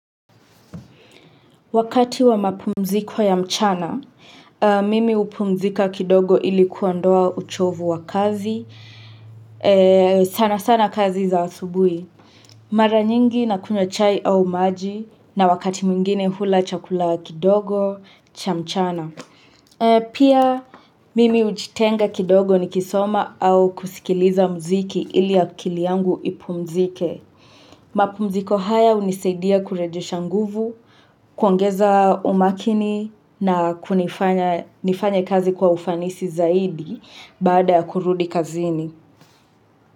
Wakati wa mapumziko ya mchana, mimi hupumzika kidogo ili kuondoa uchovu wa kazi. Sana sana kazi za asubuhi. Mara nyingi na kunywa chai au maji na wakati mwingine hula chakula kidogo cha mchana. Pia mimi hujitenga kidogo nikisoma au kusikiliza muziki ili akili yangu ipumzike. Mapumziko haya hunisaidia kurejesha nguvu, kuongeza umakini na kunifanya nifanye kazi kwa ufanisi zaidi baada ya kurudi kazini.